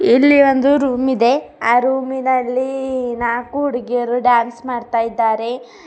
ಇಲ್ಲಿ ಒಂದು ರೂಮ್ ಇದೆ ಆ ರೂಮಿ ನಲ್ಲಿ ನಾಲ್ಕು ಹುಡುಗಿಯರು ಡ್ಯಾನ್ಸ್ ಮಾಡ್ತಾ ಇದ್ದಾರೆ.